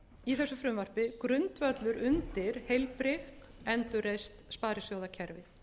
í þessu frumvarpi grundvöllur undir heilbrigt endurreist sparisjóðakerfi